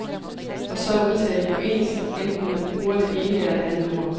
Og så er udtalen jo ens, enten man bruger det ene eller det andet ord.